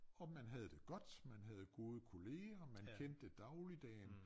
Og man havde det godt man havde gode kollegaer man kendte dagligdagen